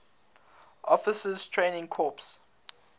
officers training corps